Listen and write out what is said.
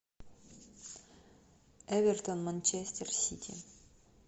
эвертон манчестер сити